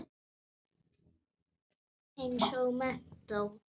Eins og menntó.